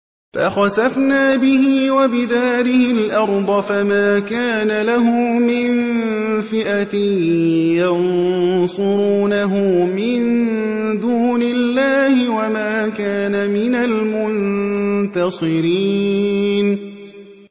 فَخَسَفْنَا بِهِ وَبِدَارِهِ الْأَرْضَ فَمَا كَانَ لَهُ مِن فِئَةٍ يَنصُرُونَهُ مِن دُونِ اللَّهِ وَمَا كَانَ مِنَ الْمُنتَصِرِينَ